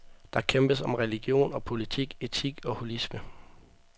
Der kæmpes om religion og politik, etik og holisme.